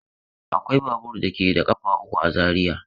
Akwai babur da ke da ƙafa uku a Zariya.